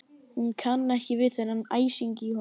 Hún kann ekki við þennan æsing í honum.